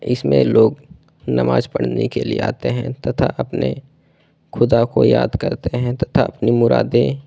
इसमें लोग नमाज पढ़ने के लिए आते हैं तथा अपने खुदा को याद करते हैं तथा अपनी मुरादें--